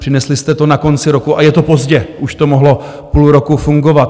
Přinesli jste to na konci roku a je to pozdě, už to mohlo půl roku fungovat.